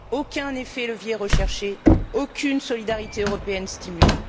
Aucun effet de levier recherché, aucune solidarité européenne stimulée.